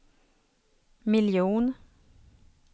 miljon